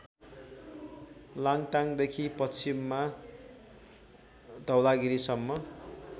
लाङ्टाङदेखि पश्चिममा धवलागिरीसम्म